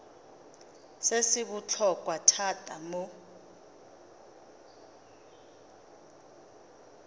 se se botlhokwa thata mo